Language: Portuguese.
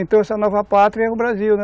Então essa nova pátria é o Brasil, né?